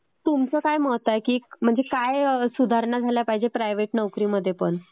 तुमचं काय मत आहे? म्हणजे काय सुधारणा झाल्या पाहिजे प्रायव्हेट नोकरी मध्ये पण